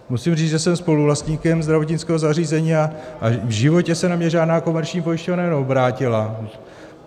Musím říct, že jsem spoluvlastníkem zdravotnického zařízení a v životě se na mě žádná komerční pojišťovna neobrátila.